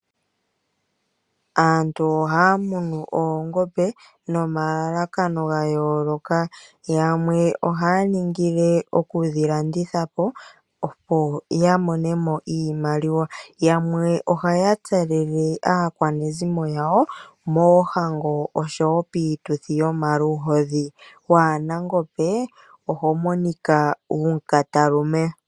Aantu ohaya munu oongombe nomalalakano ga yooloka. Yamwe ohaya ningile okudhi landitha po, opo ya mone mo iimaliwa. Yamwe ohaya tselele aakwanezimo yawo moohango oshowo piituthi yomaluhodhi. Waa na ongombe oho monika wu mu katalume